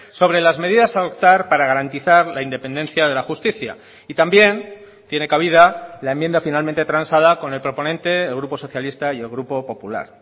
sobre las medidas a adoptar para garantizar la independencia de la justicia y también tiene cabida la enmienda finalmente transada con el proponente el grupo socialista y el grupo popular